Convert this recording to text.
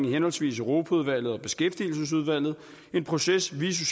henholdsvis europaudvalget og beskæftigelsesudvalget en proces vi i